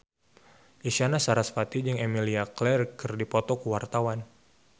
Isyana Sarasvati jeung Emilia Clarke keur dipoto ku wartawan